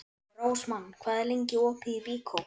Rósmann, hvað er lengi opið í Byko?